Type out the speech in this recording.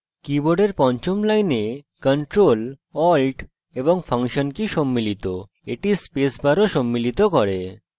কীবোর্ডের পঞ্চম line ctrl alt এবং ফাংশন কী সম্মিলিত the space bar of সম্মিলিত করে